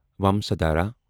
ومسادھارا